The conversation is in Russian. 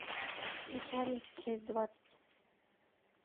начальница часть двадцать